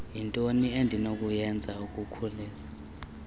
yintoni endinokuyenza ukukhusela